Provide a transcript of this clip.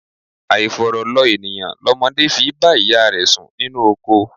Àifọ̀rọ̀ lọ ènìyàn lọmọdé fi í bá ìyá rẹ̀ sùn ninú oko.